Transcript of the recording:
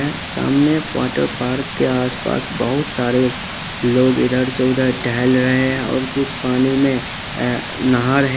सामने water park के आस पास बहुत सारे लोग इधर से उधर टहल रहे हैं और कुछ पानी में नहा रहे है।